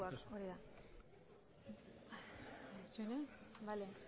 gainerakoak hori da itxaron bale